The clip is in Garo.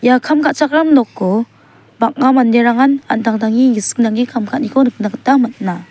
ia kam ka·chakram noko bang·a manderangan an·tangtangni gisik nange kam ka·aniko nikna gita man·a.